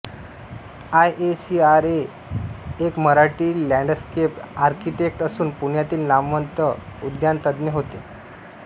I A C R A हे एक Marathi landscape architect असून पुण्यातील नामवंत उद्यानतज्ज्ञ होते